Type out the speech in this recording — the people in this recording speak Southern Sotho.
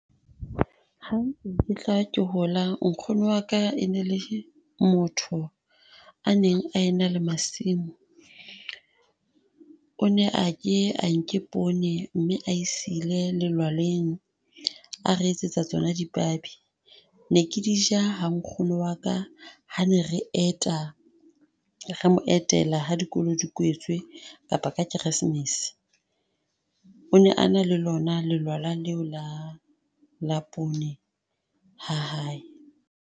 Ha ntse ke tla ke hola, nkgono waka e ne le motho a neng a ena le masimo. O ne a ke a nke poone mme a e sile lelwaleng a re etsetsa tsona dipabi. Ne ke di ja ha nkgono wa ka ha ne re eta, re mo etela ha dikolo di kwetswe, kapa ka Keresemese. O ne a na le lona lelwala leo la la poone ha hae.